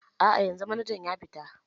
A'a, yanzu manajan ya fita.